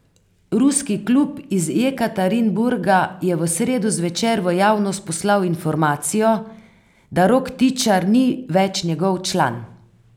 Ruski klub iz Jekaterinburga je v sredo zvečer v javnost poslal informacijo, da Rok Tičar ni več njegov član.